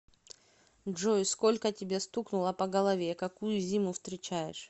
джой сколько тебе стукнуло по голове какую зиму встречаешь